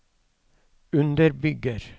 underbygger